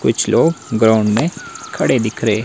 कुछ लोग ग्राउंड में खड़े दिख रहे--